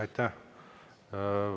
Aitäh!